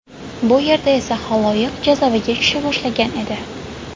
Bu yerda esa xaloyiq jazavaga tusha boshlagan edi.